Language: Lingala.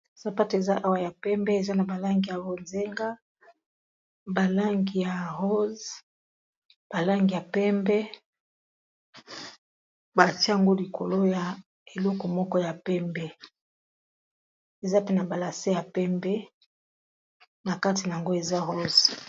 Sapato eza awa ya pembe eza na balangi ya rozenga balangi ya rose balangi ya pembe bati yango likolo ya eloko moko ya pembe eza pe na balase ya pembe na kati na yango eza rose